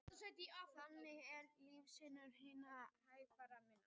Þannig eru lífslíkur hinna hægfara minni